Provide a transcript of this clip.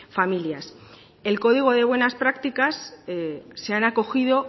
familias al código de buenas prácticas se han acogido